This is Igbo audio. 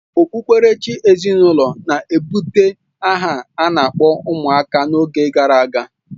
Okpukperechi ezinụlọ na-ebụte aha a na-akpọ ụmụaka n'oge gara aga